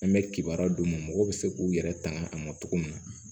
An bɛ kibaruya d'u ma mɔgɔw bɛ se k'u yɛrɛ tanga a ma cogo min na